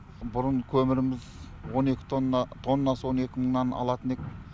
бұрын көміріміз тоннасы он екі мыңнан алатын ек